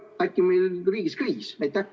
Äkki meil on riigis kriis?